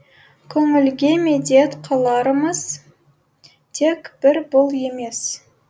көңілге медет қыларымыз тек бір бұл емес